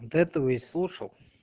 этого и слушал